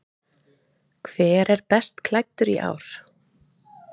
Hver er best klæddur í ár?